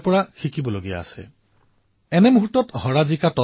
ইফালে চেম্পিয়ন নাডালেও ডেনিলৰ প্ৰশংসা কৰিলে